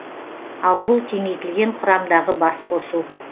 ал бұл кеңейтілген құрамдағы басқосу